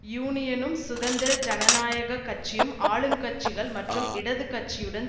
யூனியனும் சுதந்திர ஜனநாயக கட்சியும் ஆளுங் கட்சிகள் மற்றும் இடது கட்சியுடன்